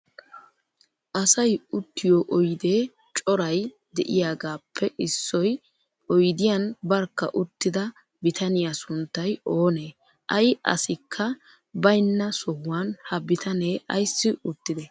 Asayi uttiyoo oyidee corayi diyyagaappe issi oyidiyan barkka uttida bitaniyaa sunttayi oonee? Ayi asikka bayinna sohuwan ha bitanee ayissi uttidee?